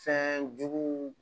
Fɛn juguw